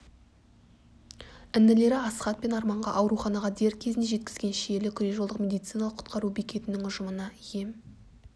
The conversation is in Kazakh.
інілері асхат пен арманға ауруханаға дер кезінде жеткізген шиелі күре-жолдық медициналық құтқару бекетінің ұжымына ем